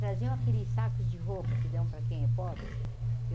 Traziam aqueles sacos de roupa que dão para quem é pobre?